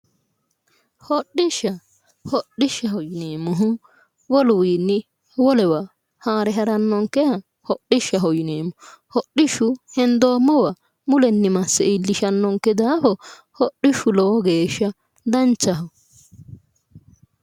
hodhishsha hodhishshaho yineemmohu woluwiinni wolewa haare harannonkeha hodhishshaho yineemmo hodhishshu hendoommowa mulenni masse iillishannonke daafo hodhishshu lowo geeshsha danchaho.